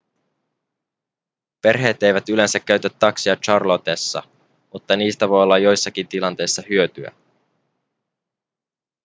perheet eivät yleensä käytä takseja charlottessa mutta niistä voi olla joissakin tilanteissa hyötyä